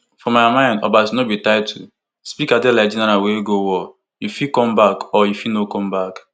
for my mind no be obasa title speaker dey like general wey go war you fit come back or you fit no come back